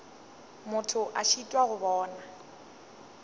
motho a šitwa go bona